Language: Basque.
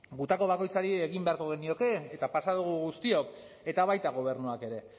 gutako bakoitzari egin beharko genioke eta pasa dugu guztiok eta baita gobernuak ere